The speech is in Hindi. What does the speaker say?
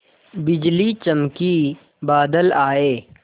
बिजली चमकी बादल आए